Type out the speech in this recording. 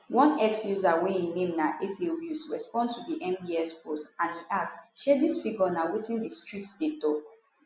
one x user wey im name na efewills respond to di nbs post and e ask shey dis figure na wetin di streets dey tok